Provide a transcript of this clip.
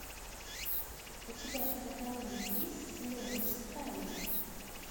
у тебя в каталоге есть слезы стали